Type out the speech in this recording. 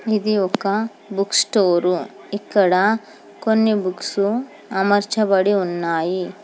ఇది ఒక book store ఇక్కడ కొన్ని బుక్సు అమర్చబడి ఉన్నాయి.